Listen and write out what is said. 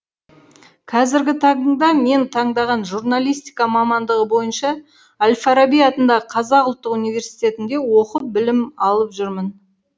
қазіргі таңда мен таңдаған журналистика мамандығы бойынша әл фараби атындағы қазақ ұлттық университетінде оқып білім алып жүрмін